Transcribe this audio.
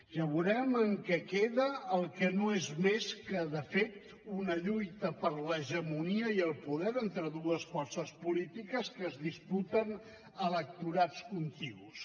ja veurem en què queda el que no és més que de fet una lluita per l’hegemonia i el poder entre dues forces polítiques que es disputen electorats contigus